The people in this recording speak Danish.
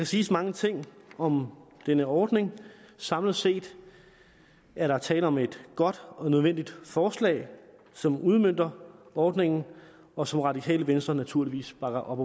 siges mange ting om denne ordning samlet set er der tale om et godt og nødvendigt forslag som udmønter ordningen og som radikale venstre naturligvis bakker op